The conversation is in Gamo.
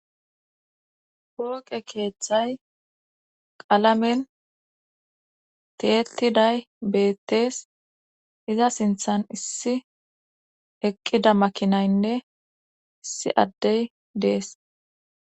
hooqe keeththay qalamen teettiday beettees iza sinthan issi eqqida makinaynne issi addey dees